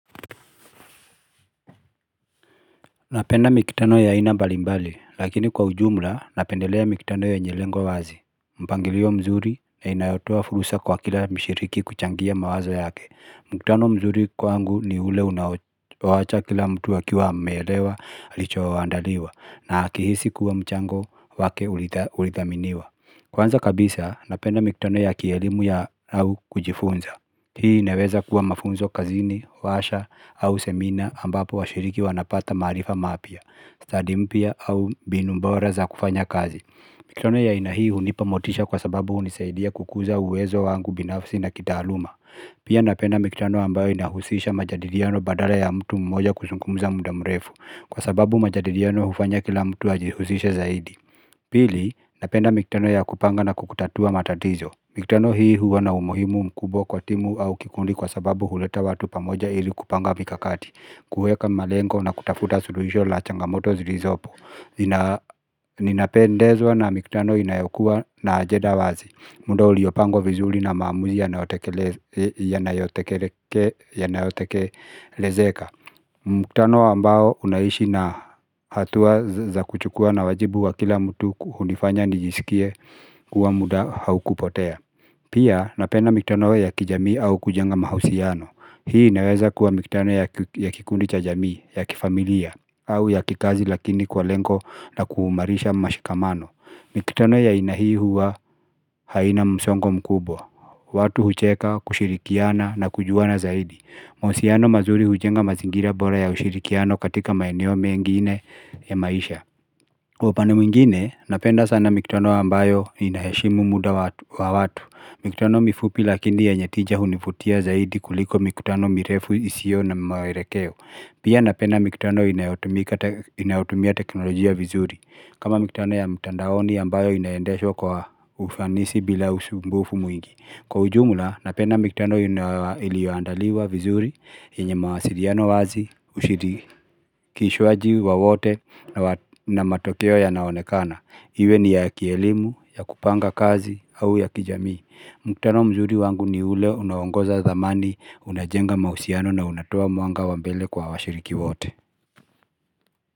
Napenda mikutano ya aina mbalimbali lakini kwa ujumla napendelea mikutano yenye lengo wazi, mpangilio mzuri na inayotoa fursa kwa kila mshiriki kuchangia mawazo yake. Mkutano mzuri kwangu ni ule unaowacha kila mtu akiwa ameelewa alichoandaliwa na akihisi kuwa mchango wake ulithaminiwa. Kwanza kabisa napenda mikutano ya kielimu ya au kujifunza Hii inaweza kuwa mafunzo kazini, washa au semina ambapo washiriki wanapata maarifa mapya, stadi mpya au mbinu bora za kufanya kazi. Mikutano ya aina hii hunipa motisha kwa sababu hunisaidia kukuza uwezo wangu binafsi na kitaaluma. Pia napenda mikutano ambayo inahusisha majadiliano badala ya mtu mmoja kuzungumza muda mrefu, kwa sababu majadiliano hufanya kila mtu ajihusishe zaidi. Pili, napenda mikutano ya kupanga na kutatua matatizo. Mikutano hii huwa na umuhimu mkubwa kwa timu au kikundi kwa sababu huleta watu pamoja ili kupanga mikakati, kuweka malengo na kutafuta suluhisho la changamoto zilizopo Ninapendezwa na mikutano inayokuwa na ajenda wazi. Muundo uliopangwa vizuri na maamuzi yanayotekelezeka mkutano ambao unaishi na hatua za kuchukua na wajibu wa kila mtu hunifanya nijisikie kuwa muda haukupotea Pia napenda mikutano ya kijamii au kujenga mahusiano. Hii inaweza kuwa mikutano ya kikundi cha jamii, ya kifamilia, au ya kikazi lakini kwa lengo la kuumarisha mashikamano. Mikutano ya aina hii huwa haina msongo mkubwa. Watu hucheka, kushirikiana na kujuana zaidi. Mahusiano mazuri hujenga mazingira bora ya ushirikiano katika maeneo mengine ya maisha. Kwa upande mwingine, napenda sana mikutano ambayo inaheshimu muda wa watu. Mikutano mifupi lakini yenye tija hunivutia zaidi kuliko mikutano mirefu isiyo na maelekeo. Pia napenda mikutano inayotumia teknolojia vizuri. Kama mikutano ya mtandaoni ambayo inayendeshwa kwa ufanisi bila usumbufu mwingi. Kwa ujumla, napenda mikutano iliyoandaliwa vizuri, yenye mawasiliano wazi, ushirikishwaji wa wote na matokeo yanaonekana. Iwe ni ya kielimu, ya kupanga kazi, au ya kijamii. Mkutano mzuri wangu ni ule unaongoza dhamani, unajenga mahusiano na unatoa mwanga wa mbele kwa washiriki wote.